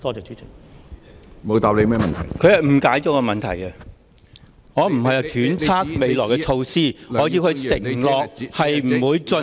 他誤解了我的質詢，我不是揣測未來的措施，我要他承諾不會進行......